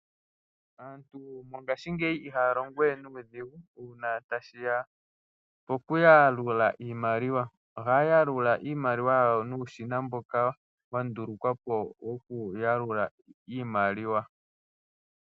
Aantu mongaashingeyi ihaya longo we nuudhigu uuna ta shiya pokuyalula iimaliwa ohaya longitha uushina mboka wa longwa wokuyalula iimaliwa.